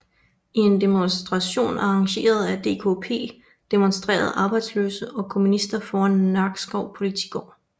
I en demonstration arrangeret af DKP demonstrerede arbejdsløse og kommunister foran Nakskov Politigård